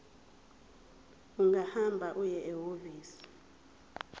ungahamba uye ehhovisi